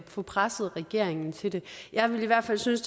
få presset regeringen til det jeg ville i hvert fald synes